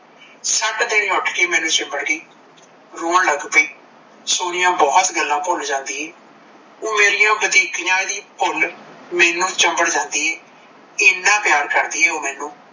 ਫੱਟ ਦੇਣੀ ਉਠ ਕ ਮੈਂਨੂੰ ਚਿਮਬੜ ਗੀ ਰੋਣ ਲੱਗ ਪਈ ਸੋਨੀਆ, ਬਹੁਤ ਗੱਲ ਭੁੱਲ ਜਾਂਦੀ ਏ ਓਹ ਮੇਰਿਆ ਬੱਧੀਕੀਆ ਵੀ ਭੁੱਲ ਮੇਰੇ ਨਾਲ ਚਿਮਬੜ ਜਾਂਦੀ ਏ ਏਨਾ ਪਿਆਰ ਕਰਦੀ ਏ ਓਹ ਮੈਂਨੂੰ